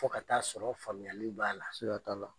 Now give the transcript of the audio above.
Fo ka taa sɔrɔ famuyali b'a la. Siga t'a la.